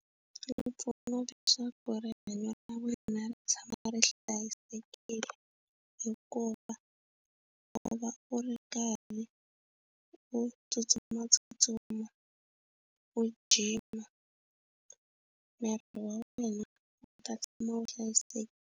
Yi pfuna leswaku rihanyo ra wena ri tshama ri hlayisekile hikuva u va u ri karhi u tsutsumatsutsuma u gym-a miri wa wena u ta tshama u hlayiseka.